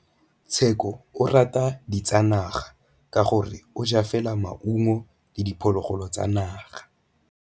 Tshekô o rata ditsanaga ka gore o ja fela maungo le diphologolo tsa naga.